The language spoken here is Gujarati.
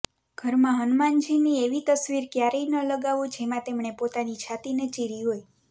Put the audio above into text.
ઘરમાં હનુમાનજીની એવી તસવીર ક્યારેય ન લગાવો જેમાં તેમણે પોતાની છાતિને ચીરી હોય